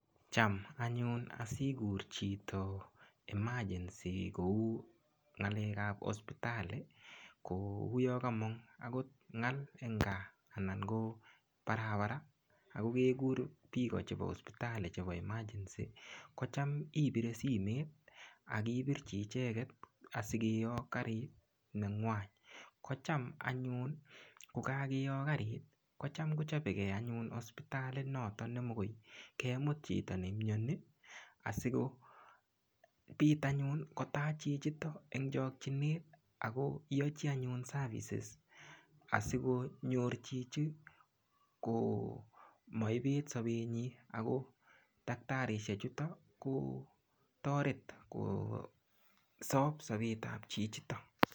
Cham anyun asikur chito emagency kou ngalek ap hospitali kouyo komong akot ngal eng kaa anan ko barbara akokekur piko chebo hospitali chepo emergency kocham ipire simet akipirchi icheget asikeyok karit nengwany kocham anyun kokakeyok karit kocham kochopekei anyun hospitalit noton nemokoy kemut chito neimyoni asikopit anyun kotach chichiton en chokchinet akoyochi anyun services asikonyor chichi komaipet sopenyi ako daktarisiek chuto ko toret kosop sopet ap chichito